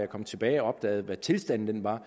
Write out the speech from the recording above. kom tilbage og opdagede hvad tilstanden var